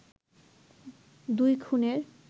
দুই খুনের